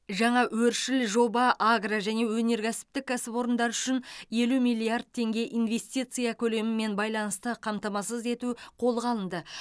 жаңа өршіл жоба агро және өнеркәсіптік кәсіпорындар үшін елу миллиард теңге инвестиция көлемімен байланысты қамтамасыз ету қолға алынды